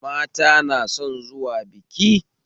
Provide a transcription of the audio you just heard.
Mata na son zuwa biki